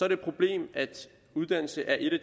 et problem at uddannelse er et af